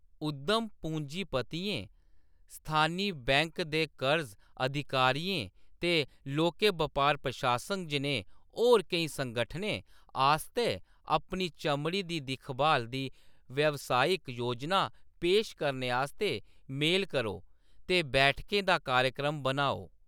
उद्यम पूंजीपतियें, स्थानी बैंक दे कर्ज अधिकारियें ते लौह्‌‌के बपार प्रशासन जनेह् होर केई संगठनें आस्तै अपनी चमड़ी दी दिक्खभाल दी व्यावसायिक योजना पेश करने आस्तै मेल करो ते बैठकें दा कार्यक्रम बनाओ।